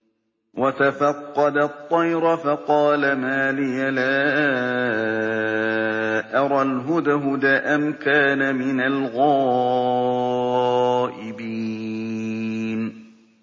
وَتَفَقَّدَ الطَّيْرَ فَقَالَ مَا لِيَ لَا أَرَى الْهُدْهُدَ أَمْ كَانَ مِنَ الْغَائِبِينَ